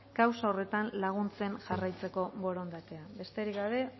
kausa horretan laguntzen jarraitzeko borondatea besterik gabe